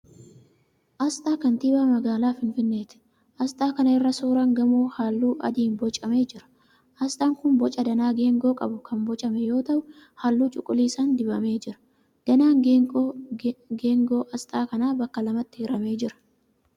Asxaa kantiibaa magaalaa Finfinneeti. Asxaa kana irra suuraan gamoo halluu adiin boocamee jira. Asxaan kun booca danaa geengoo qabu kan boocame yoo ta'u halluu cuquliisaan dibamee jira. Danaan geengoo asxaa kanaa bakka lamatti hiramee jira.